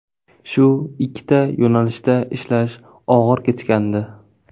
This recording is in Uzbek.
Shu ikkita yo‘nalishda ishlash og‘ir kechgandi.